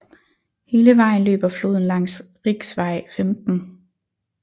Hele vejen løber floden langs riksvei 15